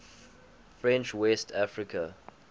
french west africa